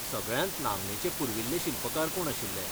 सगळ्यांत नामनेचे पुर्विल्ले शिल्पकार कोण आशिल्ले?